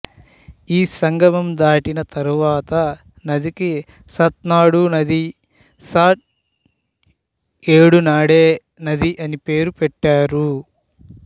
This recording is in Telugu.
ఈ సంగమం దాటిన తరువాత నదికి సత్నాడు నది సాట్ ఏడు నాడే నది అని పేరు పెట్టారు